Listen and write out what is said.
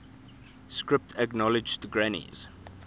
script acknowledged granny's